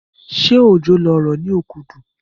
Ṣé òjò ló rọ̀ ní Okudu?